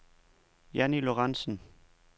Jannie Lorentzen